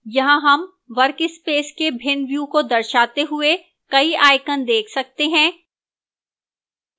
यहां हम workspace के भिन्न व्यू को दर्शाते हुए कई icons देख सकते हैं